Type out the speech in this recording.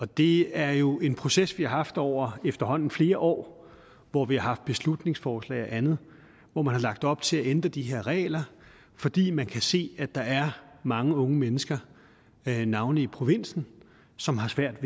det er jo en proces vi har haft over efterhånden flere år hvor vi har haft beslutningsforslag og andet hvor man har lagt op til at ændre de her regler fordi man kan se at der er mange unge mennesker navnlig i provinsen som har svært